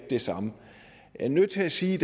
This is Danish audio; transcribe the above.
det samme jeg er nødt til at sige at